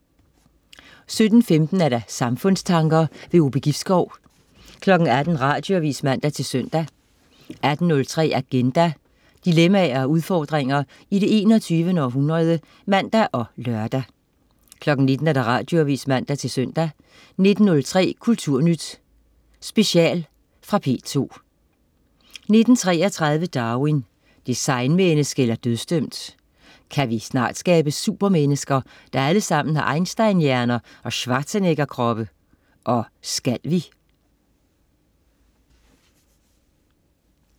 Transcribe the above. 17.15 Samfundstanker. Ove Gibskov 18.00 Radioavis (man-søn) 18.03 Agenda. Dilemmaer og udfordringer i det 21. århundrede (man og lør) 19.00 Radioavis (man-søn) 19.03 Kulturnyt Special. Fra P2 19.33 Darwin: Designmenneske eller dødsdømt? Kan vi snart skabe supermennesker, der alle sammen har Einstein-hjerner og Schwarzeneggerkroppe? Og skal vi?